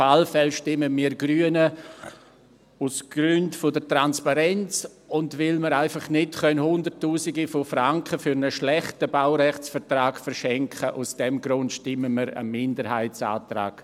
Auf alle Fälle stimmen wir Grünen dem Minderheitsantrag zu, aus Gründen der Transparenz und weil wir einfach nicht Hunderttausende von Franken für einen schlechten Baurechtsvertrag verschenken können.